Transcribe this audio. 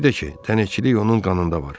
Bir də ki, dənizçilik onun qanında var.